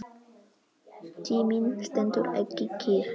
Tíminn stendur ekki kyrr.